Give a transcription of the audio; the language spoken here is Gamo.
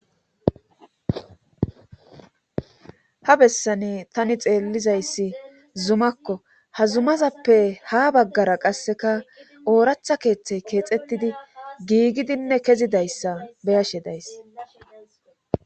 ha bessani tani xeellizayssi zumakko. ha zumazappe ha baggara qasseka ooraththa keeththey keexettidi giigidinne kezidayssa beyashe days.